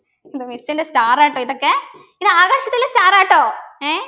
ഇത് miss ൻ്റെ star ആ ട്ടോ ഇതൊക്കെ ഇതാകാശത്തിലെ star ആട്ടോ ഏർ